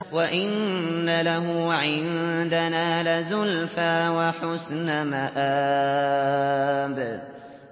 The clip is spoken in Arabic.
وَإِنَّ لَهُ عِندَنَا لَزُلْفَىٰ وَحُسْنَ مَآبٍ